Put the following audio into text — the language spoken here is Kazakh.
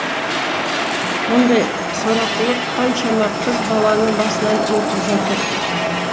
мұндай сорақылық қаншама қыз баланың басынан өтіп жатыр